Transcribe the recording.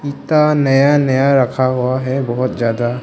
नया नया रखा हुआ है बहुत ज्यादा--